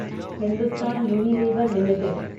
Hindustan Unilever limited